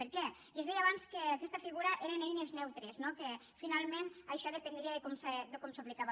per què i es deia abans que aquestes figures eren eines neutres no que finalment això dependria de com s’aplicava